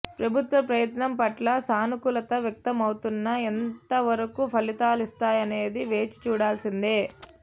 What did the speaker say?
ప్రభుత్వ ప్రయత్నం పట్ల సానుకూలత వ్యక్తమవుతున్నా ఎంత వరకు ఫలితాలిస్తాయనేది వేచి చూడాల్సిందే